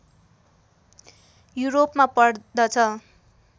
युरोपमा पर्दछ